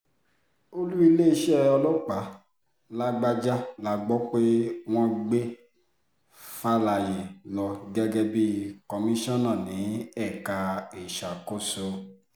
olú iléeṣẹ́ ọlọ́pàá làbàjá la gbọ́ pé wọ́n gbé falẹyé lọ gẹ́gẹ́ bíi komisanna ní ẹ̀ka ìṣàkóso